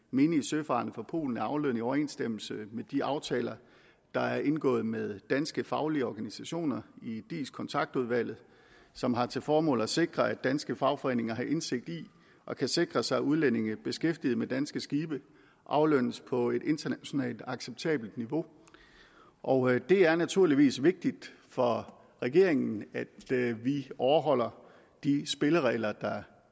menige søfarende fra polen er aflønnet i overensstemmelse med de aftaler der er indgået med danske faglige organisationer i dis kontaktudvalget som har til formål at sikre at danske fagforeninger har indsigt i og kan sikre sig at udlændinge beskæftiget med danske skibe aflønnes på et internationalt acceptabelt niveau og det er naturligvis vigtigt for regeringen at vi overholder de spilleregler der